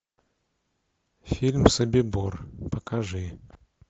фильм собибор покажи